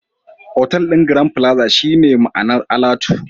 Otal ɗin Grand plaza shine ma'anar alatu